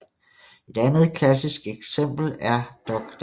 Et andet klassisk eksempel er Dr